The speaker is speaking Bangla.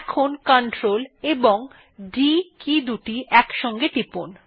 এখন Ctrl এবং D কী দুটি একসাথে টিপুন